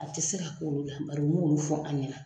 A tɛ se ka k'olu la bari o mo olu fɔ an ɲɛna.